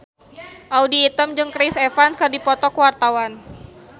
Audy Item jeung Chris Evans keur dipoto ku wartawan